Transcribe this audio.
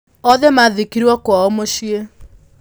Othe maathikirũo kwao mũciĩ.